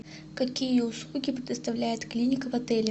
какие услуги предоставляет клиника в отеле